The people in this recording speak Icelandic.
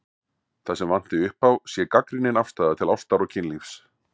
Það sem vanti upp á sé gagnrýnin afstaða til ástar og kynlífs.